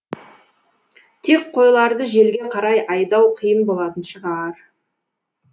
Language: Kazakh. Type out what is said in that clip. тек қойларды желге қарай айдау қиын болатын шығар